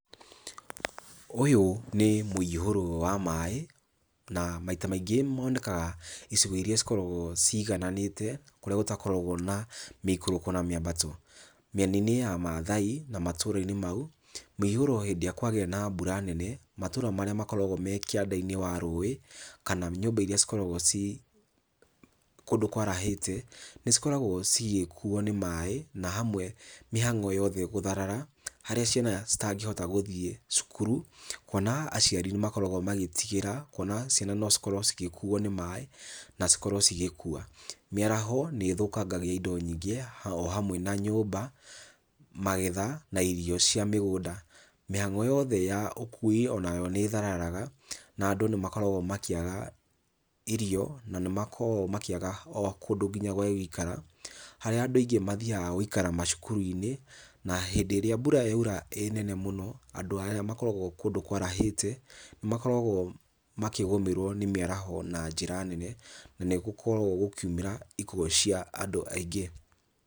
Ũyũ nĩ mũihũro wa maĩ na maita maingĩ monekaga icigo irĩa cikoragwo cigananĩte, kũrĩa gũtakoragwo na mĩikũrũko na mĩambato. Mĩena-inĩ ya Mathai na matũra-inĩ mau, mĩihũro hĩndĩ ĩrĩa kwagĩa na mbura nene, matũra marĩa makoragwo me kĩanda-inĩ wa rũĩ, kana nyũmba iria cikoragwo ci kũndũ kwarahĩte nĩcikoragwo cigĩkuo nĩ maĩ, na hamwe mĩhango yothe gũtharara, harĩa ciana citangĩhota gũthiĩ cukuru, kuona aciari nĩmakoragwo magĩtigĩra kuona ciana no cikorwo cigĩkuo nĩ maĩ na cikorwo cigĩkua. Mĩaraho nĩĩthũkangagia indo nyingĩ, o hamwe na nyũmba, magetha na irio cia mĩgũnda. Mĩhango yothe ya ũkui onayo nĩthararaga na andũ nĩmakoragwo makĩaga irio na nĩmakoragwo makĩaga o kũndũ kinya gwa gũikara, harĩa andũ aingĩ mathiaga gũikara macukuru-inĩ na hĩndĩ ĩrĩa mbura yaura ĩ nene mũno, andũ aya makoragwo kũndũ kwarahĩte nĩmakoragwo makĩgũmĩrwo nĩ mĩaraho na njĩra nene na nĩgũkoragwo gũkiumĩra ikuũ cia andũ aingĩ.